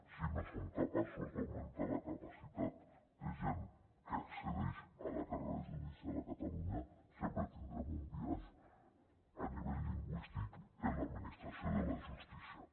si no som capaços d’augmentar la capacitat de gent que accedeix a la carrera judicial a catalunya sempre tindrem un biaix a nivell lingüístic en l’administració de la justícia